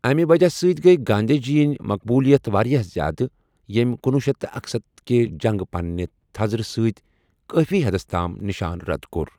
امہِ وجہ سۭتۍ گٔیہِ گاندھی جی یِن مقبولیت واریاہ زیادٕ ییٚمۍ کنۄہُ شیتھ تہٕ اکسَتتھَ کہِ جنگہٕ پننٮہِ تھزرٕ سۭتۍ کٲفی حدس تام نِشان زد کوٚر۔